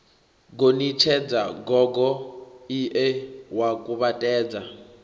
gonitshedza gogo ie wa kuvhatedza